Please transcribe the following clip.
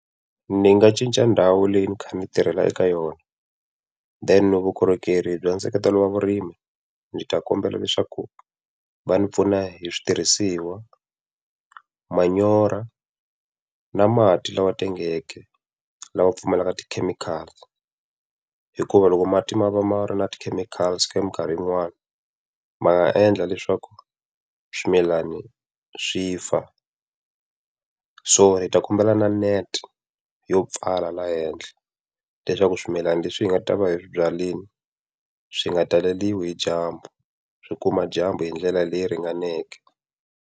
Ndzi nga cinca ndhawu leyi ni kha ni tirhela eka yona. Then vukorhokeri bya nseketelo wa vurimi, ndzi ta kombela leswaku va ndzi pfuna hi switirhisiwa, manyoro, na mati lawa tengeke, lawa pfumelaka tikhemikhali. Hikuva loko mati ma va ma ri na tikhemikhali khemikhali yin'wana, ma nga endla leswaku swimilani swi fa. So hi ta kombela na net yo pfala laha henhla, leswaku swimilani leswi hi nga ta va hi swi byarile swi nga ta taleriwi hi dyambu, swi kuma dyambu hi ndlela leyi ringaneke.